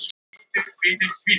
Á Ísafirði þótti þetta mikil.